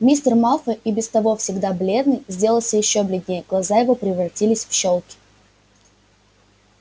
мистер малфой и без того всегда бледный сделался ещё бледнее глаза его превратились в щёлки